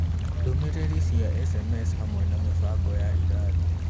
Ndũmĩrĩri cia sms hamwe na mĩbango ya irathi